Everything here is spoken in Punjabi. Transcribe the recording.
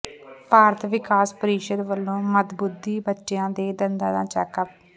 ਭਾਰਤ ਵਿਕਾਸ ਪ੍ਰੀਸ਼ਦ ਵੱਲੋਂ ਮੰਦਬੁੱਧੀ ਬੱਚਿਆਂ ਦੇ ਦੰਦਾਂ ਦਾ ਚੈੱਕਅਪ